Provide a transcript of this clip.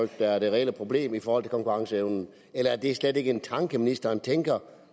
der er det reelle problem i forhold til konkurrenceevnen eller er det slet ikke en tanke ministeren tænker